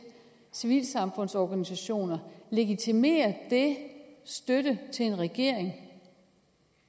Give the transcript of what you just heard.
civilsamfundsorganisationer legitimerer støtte til en regering